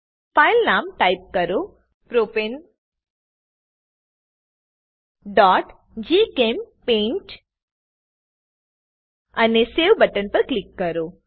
file નામ type કરો propaneજીચેમ્પેઇન્ટ અને સવે બટન પર ક્લિક કરો